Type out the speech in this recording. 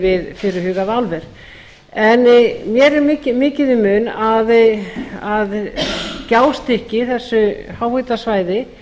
við fyrirhugað álver en mér er mikið í mun að gjástykki þessu háhitasvæði